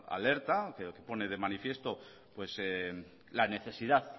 alerta un informe que pone de manifiesto la necesidad